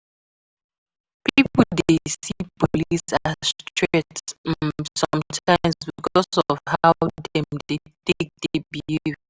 Pipo dey see police as threat um sometimes because of how dem take dey behave